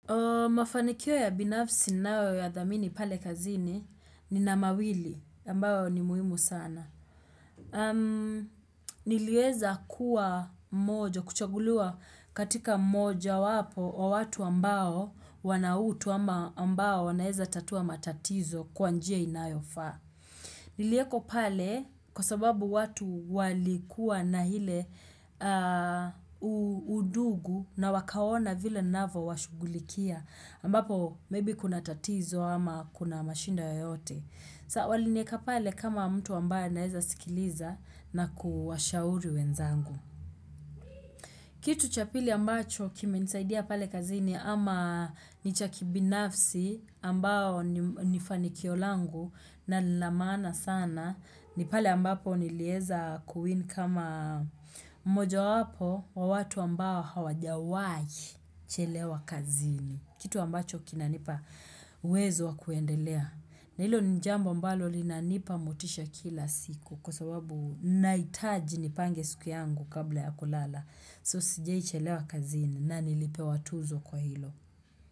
Mafanikio ya binafsi ninayo yadhamini pale kazini nina mawili ambayo ni muhimu sana. Niliweza kuwa mmoja kuchaguliwa katika mmoja wapo wa watu ambao wana utu ama ambao wanaweza tatua matatizo kwa njia inayofaa. Niliekwa pale kwa sababu watu walikuwa na ile undugu na wakaona vile ninavyo washugulikia ambapo maybe kuna tatizo ama kuna mashida yoyote. Saa walinieka pale kama mtu ambaye anaeza sikiliza na kuwashauri wenzangu. Kitu cha pili ambacho kimenisaidia pale kazini ama ni cha kibinafsi ambayo ni fanikio langu na ni la maana sana ni pale ambapo nilieza kuwin kama moja wapo wa watu ambao hawajawahi chelewa kazini. Kitu ambacho kinanipa uwezo wa kuendelea. Na hilo ni jambo ambalo lina nipa motisha kila siku kwa sababu nahitaji nipange siku yangu kabla ya kulala. So sijaichelewa kazini na nilipewa tuzo kwa hilo.